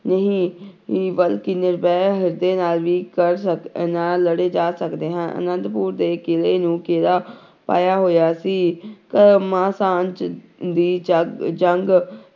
ਨਹੀਂ ਹੀ ਬਲਕਿ ਨਿਰਵੈਰ ਹਿਰਦੇ ਨਾਲ ਵੀ ਕਰ ਸਕ ਨਾਲ ਲੜੇ ਜਾ ਸਕਦੇ ਹਨ, ਆਨੰਦਪੁਰ ਦੇ ਕਿਲ੍ਹੇ ਨੂੰ ਘੇਰਾ ਪਾਇਆ ਹੋਇਆ ਸੀ ਦੀ ਜਗ ਜੰਗ